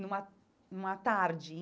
numa numa tarde.